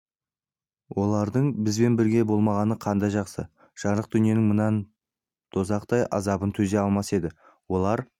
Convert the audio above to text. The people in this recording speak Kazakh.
олардың бізбен бірге болмағаны қандай жақсы жарық дүниенің мына дозақтай азабына төзе алмас еді олар